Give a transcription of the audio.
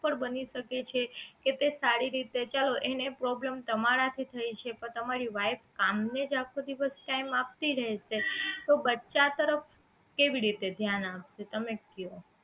પણ બની શકે છે કે તે સારી રીતે ચલો એને problem તમારા થી થાય છે કે પણ તમારી wife કામ ને જ આખો દિવસ time આપતી રહશે તો બચ્ચા તરફ કેવી રીતે ધ્યાન આપશે તમે કયો